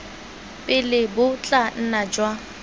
pele bo tla nna jwa